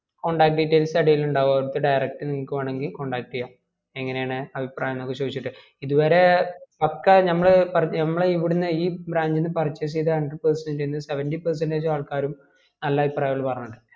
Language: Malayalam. contact details അടിയിൽ ഇണ്ടാകു ഓർക് direct നിങ്ങക്ക് വേണേങ്കി contact ചെയാം എങ്ങനയാണ് അഭിപ്രായംന് ഒക്കെ ചോയ്ച്ചിട്ട് ഇത് വരെ പക്കാ ഞമ്മള് ഞമ്മള് ഇവിടുന്ന് ഈ branch ന്ന് purchase ചെയ്ത hundred percent ന്ന് seventy percent ആൾക്കാരും നല്ല അഭിപ്രായ പറഞ്ഞിട്ടുളെ